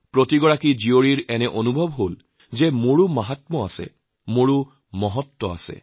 প্ৰতিগৰাকী ছোৱালী মন থাকে যে আমাৰো কিবা এটা মহিমা আছে কোনো মহত্ত্ব আছে